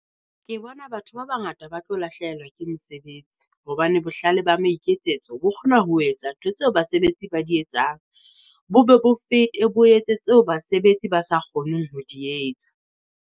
Ke bona batho ba bangata ba tlo lahlehelwa ke mesebetsi hobane bohlale ba maiketsetso, bo kgona ho etsa ntho tseo basebetsi ba di etsang. Bobe bo fete bo etse tseo basebetsi ba sa kgoneng ho di etsa.